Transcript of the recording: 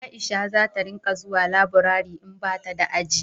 Aisha za ta ringa zuwa laburare in bata da aji